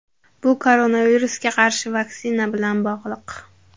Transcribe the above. Bu koronavirusga qarshi vaksina bilan bog‘liq.